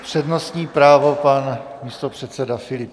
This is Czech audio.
Přednostní právo pan místopředseda Filip.